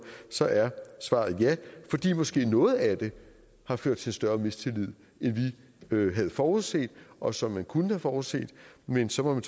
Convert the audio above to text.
så er svaret ja fordi måske noget af det har ført til en større mistillid end vi havde forudset og som man kunne have forudset men så må man